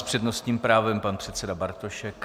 S přednostním právem pan předseda Bartošek.